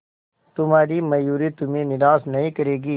तुम्हारी मयूरी तुम्हें निराश नहीं करेगी